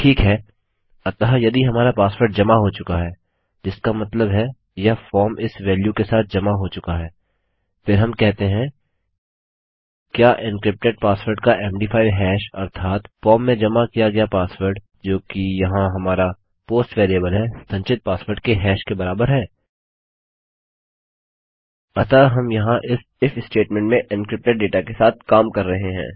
ठीक है अतः यदि हमारा पासवर्ड जमा हो चुका है जिसका मतलब है यह फॉर्म इस वेल्यू के साथ जमा हो चुका है फिर हम कहते हैं क्या एन्क्रिप्टेड पासवर्ड का मद5 हैश अर्थात फॉर्म में जमा किया गया पासवर्ड जोकि यहाँ हमारा पोस्ट वेरिएबल है संचित पासवर्ड के हैश के बराबर है अतः हम यहाँ इस इफ स्टेटमेंट में एन्क्रिप्टेड डेटा के साथ काम कर रहे हैं